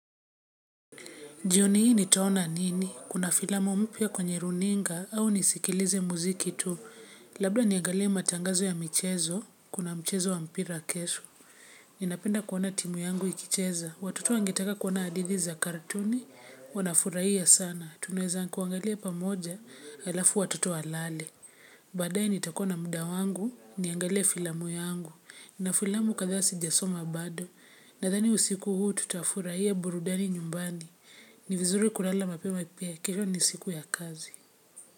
Jioni hii nitaona nini, kuna filamu mpya kwenye runinga au nisikilize muziki tu labda niangalie matangazo ya michezo kuna mchezo wa mpira kesho. Ninapenda kuona timu yangu ikicheza watoto wangetaka kuona hadithi za katuni wanafurahia sana tunaweza kuangalia pamoja alafu watoto walale. Baadaye nitakuwa na muda wangu niangalie filamu yangu na filamu kadhaa sijasoma bado nadhani usiku huu tutafurahia burudani nyumbani. Ni vizuri kulala mapema pia kesho ni siku ya kazi.